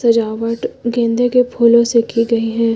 सजावट गेंदे के फूलों से की गई है।